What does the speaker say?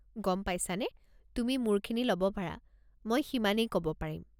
গম পাইছানে, তুমি মোৰখিনি ল'ব পাৰা, মই সিমানেই ক'ব পাৰিম।